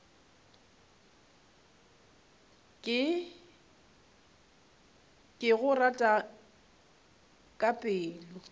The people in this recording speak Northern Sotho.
ke go rata ka pelo